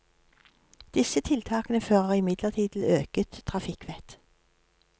Disse tiltakene fører imidlertid til øket trafikkvett.